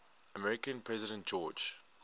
american president george